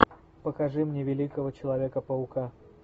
покажи мне великого человека паука